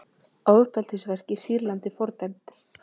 Ofbeldisverk í Sýrlandi fordæmd